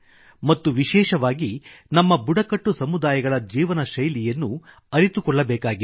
ಮತ್ತು ವಿಶೇಷವಾಗಿ ನಮ್ಮ ಬುಡಕಟ್ಟು ಸಮುದಾಯಗಳ ಜೀವನಶೈಲಿಯನ್ನು ಅರಿತುಕೊಳ್ಳಬೇಕಿದೆ